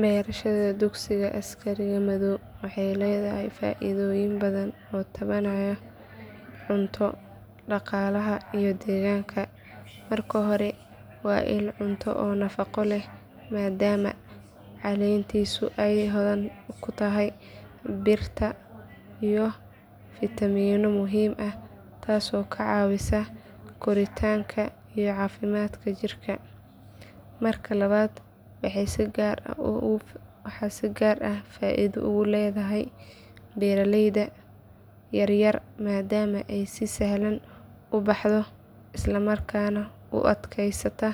Beerashada dugsiga askariga madhoow waxay leedahay faa’iidooyin badan oo taabanaya cunto, dhaqaalaha iyo deegaanka. Marka hore waa il cunto oo nafaqo leh maadaama caleentiisu ay hodan ku tahay birta iyo fiitamiinno muhiim ah taasoo ka caawisa koritaanka iyo caafimaadka jirka. Marka labaad waxay si gaar ah faa’iido ugu leedahay beeraleyda yar yar maadaama ay si sahlan u baxdo islamarkaana u adkaysata